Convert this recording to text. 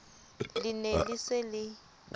le ne le se le